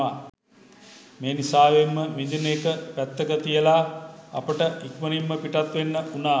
මෙනිසාවෙන්ම විඳින එක පැත්තක තියලා අපිට ඉක්මනින්ම පිටත් වෙන්න වුණා.